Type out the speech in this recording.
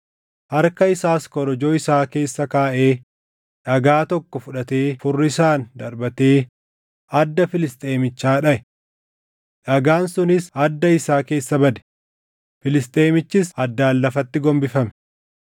Harka isaas korojoo isaa keessa kaaʼee dhagaa tokko fudhatee furrisaan darbatee adda Filisxeemichaa dhaʼe. Dhagaan sunis adda isaa keessa bade; Filisxeemichis addaan lafatti gombifame.